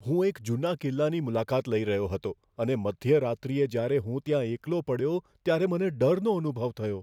હું એક જૂના કિલ્લાની મુલાકાત લઈ રહ્યો હતો અને મધ્યરાત્રિએ જ્યારે હું ત્યાં એકલો પડ્યો ત્યારે મને ડરનો અનુભવ થયો.